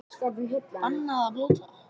Bannað að blóta